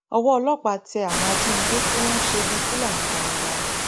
owó ọlọpàá tẹ àwọn ajínigbé tí wọn ń ṣe bíi fúlàní darandaran